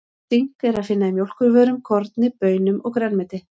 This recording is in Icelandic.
Sink er að finna í mjólkurvörum, korni, baunum og grænmeti.